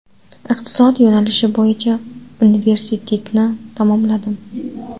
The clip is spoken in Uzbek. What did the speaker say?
Iqtisod yo‘nalishi bo‘yicha universitetni tamomladim.